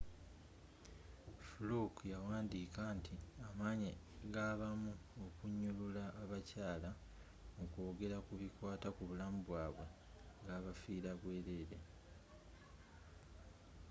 fluke yawandiika nti amaanyi gabamu okunyulula abakyaala mukwogela kubikwaata kubulamubwaabwe gabafiira bwerere